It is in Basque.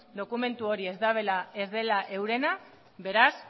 dokumentu hori ez dela eurena beraz